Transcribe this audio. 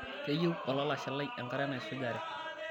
keyieu olalashe lai enkare naisujare